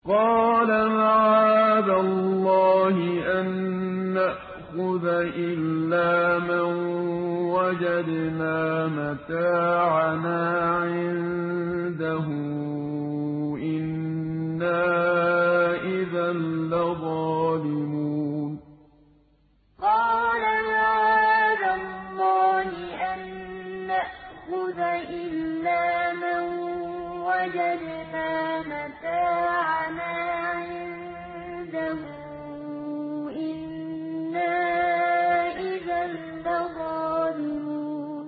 قَالَ مَعَاذَ اللَّهِ أَن نَّأْخُذَ إِلَّا مَن وَجَدْنَا مَتَاعَنَا عِندَهُ إِنَّا إِذًا لَّظَالِمُونَ قَالَ مَعَاذَ اللَّهِ أَن نَّأْخُذَ إِلَّا مَن وَجَدْنَا مَتَاعَنَا عِندَهُ إِنَّا إِذًا لَّظَالِمُونَ